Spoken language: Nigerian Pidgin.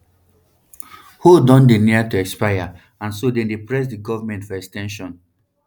hold don dey near to expire and so dem dey press di goment for ex ten sions